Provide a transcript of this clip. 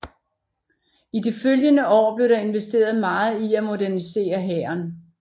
I de følgende år blev der investeret meget i at modernisere hæren